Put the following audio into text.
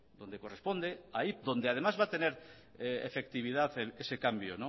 donde corresponde ahí donde además va a tener efectividad ese cambio